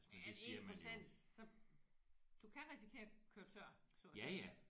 Er det 1% så du kan risikere at køre tør så at sige